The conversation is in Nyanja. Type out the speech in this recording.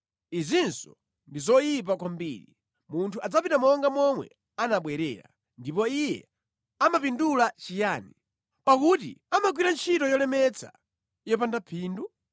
Izinso ndi zoyipa kwambiri: munthu adzapita monga momwe anabwerera, ndipo iye amapindula chiyani, pakuti amagwira ntchito yolemetsa yopanda phindu?